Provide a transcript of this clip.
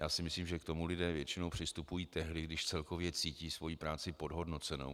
Já si myslím, že k tomu lidé většinou přistupují tehdy, když celkově cítí svoji práci podhodnocenou.